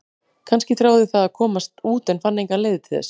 Kannski þráði það að komast út en fann engar leiðir til þess?